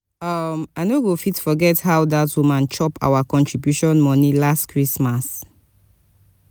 um i no go fit forget how dat woman chop our contribution moni last christmas.